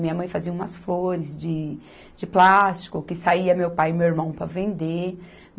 Minha mãe fazia umas flores de, de plástico que saía meu pai e meu irmão para vender.